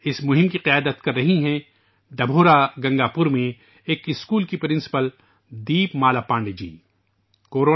اس مہم کی قیادت ڈبھورا گنگا پور کے ایک اسکول کی پرنسپل دیپ مالا پانڈے جی کر رہی ہیں